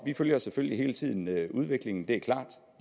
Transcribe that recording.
vi følger selvfølgelig hele tiden udviklingen det er klart